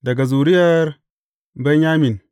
Daga zuriyar Benyamin.